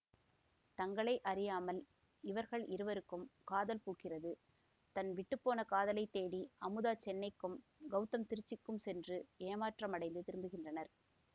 தங்களை அறியாமல் இவர்கள் இருவருக்கும் காதல் பூக்கிறது தன் விட்டு போன காதலைத் தேடி அமுதா சென்னைக்கும் கௌதம் திருச்சிக்கும் சென்று ஏமாற்றமடைந்து திரும்புகின்றனர்